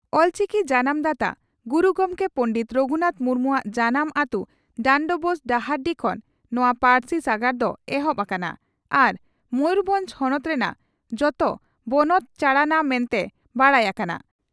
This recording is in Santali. ᱚᱞᱪᱤᱠᱤ ᱡᱟᱱᱟᱢ ᱫᱟᱛᱟ ᱜᱩᱨᱩ ᱜᱚᱢᱠᱮ ᱯᱚᱸᱰᱮᱛ ᱨᱟᱹᱜᱷᱩᱱᱟᱛᱷ ᱢᱩᱨᱢᱩᱣᱟᱜ ᱡᱟᱱᱟᱢ ᱟᱹᱛᱩ ᱰᱟᱱᱰᱵᱳᱥ (ᱰᱟᱦᱟᱨᱰᱤ) ᱠᱷᱚᱱ ᱱᱚᱣᱟ ᱯᱟᱹᱨᱥᱤ ᱥᱟᱜᱟᱲ ᱫᱚ ᱮᱦᱚᱵ ᱟᱠᱟᱱᱟ ᱟᱨ ᱢᱚᱭᱩᱨᱵᱷᱚᱸᱡᱽ ᱦᱚᱱᱚᱛ ᱨᱮᱱᱟᱜ ᱡᱚᱛᱚ ᱵᱚᱱᱚᱛ ᱪᱟᱬᱟᱱᱟ ᱢᱮᱱᱛᱮ ᱵᱟᱰᱟᱭ ᱟᱠᱟᱱᱟ ᱾